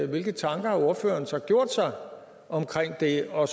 hvilke tanker har ordføreren så gjort sig om det og